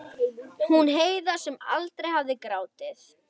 Gatan tók við af sínu alkunna örlæti.